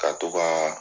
Ka to ka